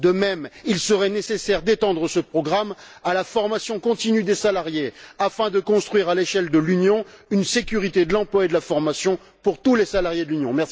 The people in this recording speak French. De même, il serait nécessaire d'étendre ce programme à la formation continue des salariés, afin de construire à l'échelle de l'Union une sécurité de l'emploi et de la formation pour tous les salariés de l'Union.